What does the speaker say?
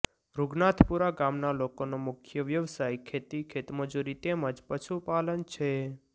રુગનાથપુરા ગામના લોકોનો મુખ્ય વ્યવસાય ખેતી ખેતમજૂરી તેમ જ પશુપાલન છે